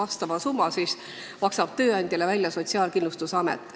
Selle summa maksab tööandjale välja Sotsiaalkindlustusamet.